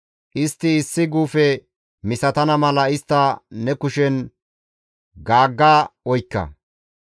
Istti issi guufe misatana mala istta ne kushen gaagga oykka.